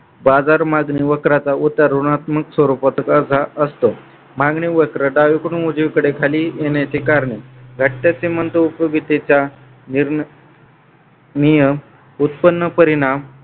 बाजार मागणी वक्राचा उतार ऋणात्मक स्वरूपाचा असा असतो. मागणी वक्र डावीकडून उजवीकडे खाली येण्याचे कारणे घटकाचे उपयोगितेच्या नियम उत्पन्न परिणाम